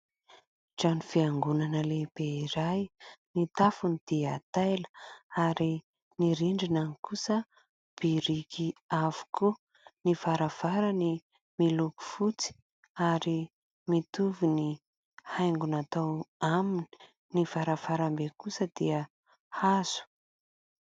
Trano fiangonana lehibe iray, ny tafony dia taila ary ny rindriny kosa biriky avokoa, ny varavarany miloko fotsy ary mitovy ny haingo natao aminy, ny varavarambe kosa dia hazo.